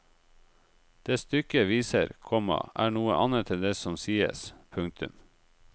Det stykket viser, komma er noe annet enn det som sies. punktum